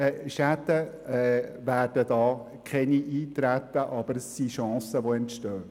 Schäden wird es keine gebe, aber Chancen werden entstehen.